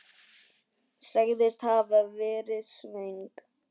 Sagðist hafa verið svöng.